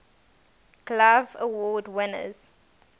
glove award winners